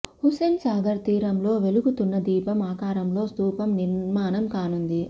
హుస్సేన్ సాగర్ తీరంలో వెలుగుతున్న దీపం ఆకారంలో స్థూపం నిర్మాణం కానుంది